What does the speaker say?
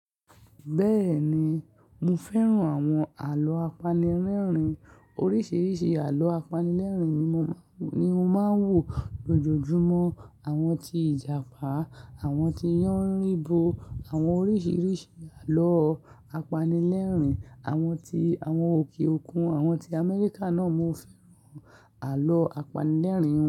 Bẹ́ẹ̀ni, mo fẹ́ràn àwọn àlọ́ apanilẹ́rìn. Oríṣìíríṣìí àlọ́ apanilẹ́rìn ni mo má ń wò lójoojúmọ́. Àwọn tí ìjàpá, àwọn tí Yánribo, àwọn oríṣìíríṣìí àlọ́ apanilẹ́rìn, àwọn ti àwọn òkè òkun, àwọn tí Amẹ́ríkà náà mo fẹ́ràn àlọ́ apanilẹ́rìn.